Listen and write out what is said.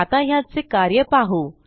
आता ह्याचे कार्य पाहू